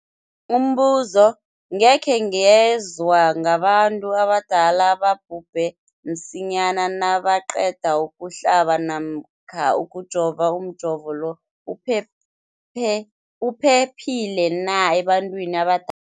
Umbuzo, gikhe ngezwa ngabantu abadala ababhubhe msinyana nabaqeda ukuhlaba namkha ukujova. Umjovo lo uphephile na ebantwini abada